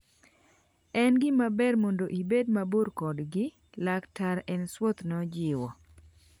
En gimaber mondo ibed mabor kodgi," Laktar Ainsworth nojiwo.